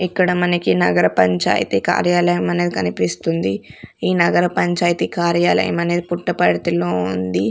ఇక్కడ మనకి నగర పంచాయతీ కార్యాలయం అనేది కనిపిస్తుంది ఈ నగర పంచాయతీ కార్యాలయం అనేది పుట్టపర్తి లో ఉంది.